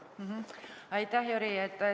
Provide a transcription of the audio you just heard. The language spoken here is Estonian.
Aitäh, Jüri!